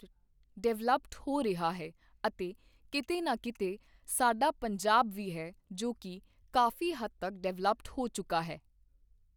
developed ਹੋ ਰਿਹਾ ਹੈ ਅਤੇ ਕਿਤੇ ਨਾ ਕਿਤੇ ਸਾਡਾ ਪੰਜਾਬ ਵੀ ਹੈ ਜੋ ਕਿ ਕਾਫੀ ਹੱਦ ਤੱਕ ਡੈਵਲਅਪਡ ਹੋ ਚੁੱਕਾ ਹੈ